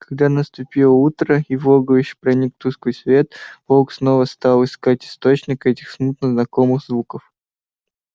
когда наступило утро и в логовище проник тусклый свет волк снова стал искать источник этих смутно знакомых звуков